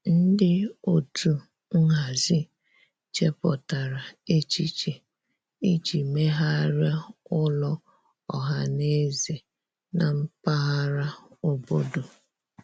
Ndị otu nhazi chepụtara echiche iji megharịa ụlọ ọhaneze na mpaghara obodo.